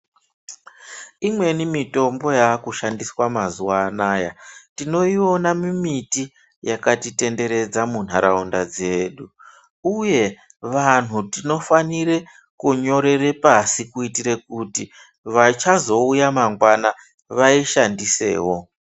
Imweni mitombo yakushandiswa mazuva anaya tinoiona mumiti yakatitenderedza muntaraunda dzedu, uye vantu tinofanire kunyorere pasi kuitire kuti vachazouya mangwana vaishandisevo.